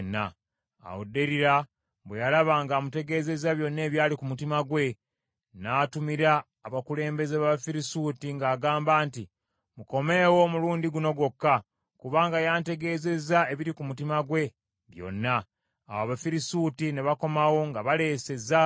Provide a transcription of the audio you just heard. Awo Derira bwe yalaba ng’amutegeezezza byonna ebyali ku mutima gwe, n’atumira abakulembeze b’Abafirisuuti ng’agamba nti, “Mukomeewo omulundi guno gwokka, kubanga yantegeezezza ebiri mu mutima gwe byonna.” Awo Abafirisuuti ne bakomawo nga baleese ezaabu.